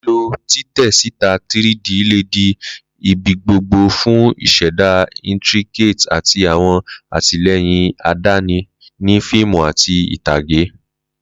Lilo titẹ sita 3D le di ibigbogbo fun ṣiṣẹda intricate ati awọn atilẹyin adani ni fiimu ati itage